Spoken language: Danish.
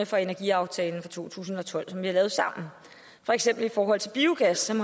for energiaftalen fra to tusind og tolv som vi har lavet sammen for eksempel i forhold til biogas som